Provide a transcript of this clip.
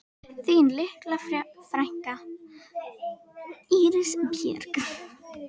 Þín litla frænka, Íris Björk.